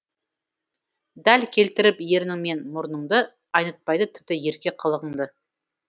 дәл келтіріп ернің мен мұрыныңды айнытпайды тіпті ерке қылығыңды